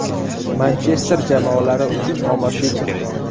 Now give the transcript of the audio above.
Manchester jamoalari uchun omadli tur.